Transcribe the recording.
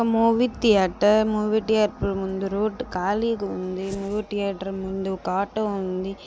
Movie theatre movie theatre ముందు road ఖాళీగా ఉంది. మూవీ థియేటర్ ముందు ఒక ఆటో ఉంది.